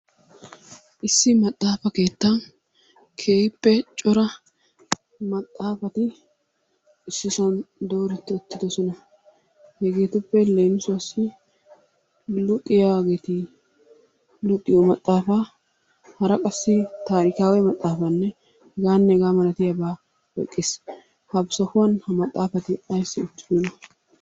Issi maxxafa keettan keehippe cora maxxaafati issisan dooretti uttidosona. Hegeetuppe leemisuwassi luxiyageeti luxiyo maxxaafaa hara qassi taarikaawe maxxaafaa hegaanne hegaa malatiyabata oyiqqes. Ha sohuwan ha maxxaafati ayissi uttidonaa?